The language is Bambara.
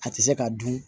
A tɛ se ka dun